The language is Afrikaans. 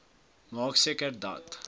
maak seker dat